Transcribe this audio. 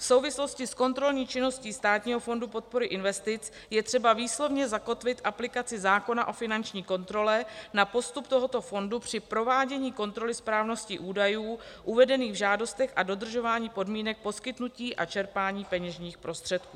V souvislosti s kontrolní činností Státního fondu podpory investic je třeba výslovně zakotvit aplikaci zákona o finanční kontrole na postup tohoto fondu při provádění kontroly správnosti údajů uvedených v žádostech a dodržování podmínek poskytnutí a čerpání peněžních prostředků.